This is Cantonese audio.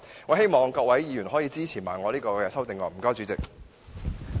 我希望各位議員也會同樣支持我的修正案。